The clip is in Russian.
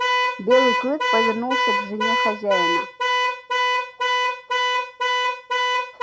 белый клык повернулся к жене хозяина